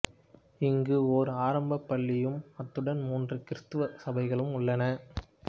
இங்கு ஓர் ஆரம்பப் பள்ளியும் அத்துடன் மூன்று கிறித்துவ சபைகளும் உள்ளன